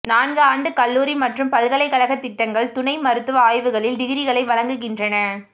நான்கு ஆண்டு கல்லூரி மற்றும் பல்கலைக்கழக திட்டங்கள் துணை மருத்துவ ஆய்வுகளில் டிகிரிகளை வழங்குகின்றன